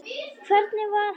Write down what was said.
Hvernig var hann?